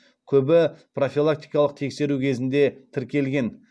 көбі профилактикалық тексеру кезінде тіркелген